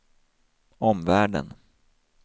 omvärlden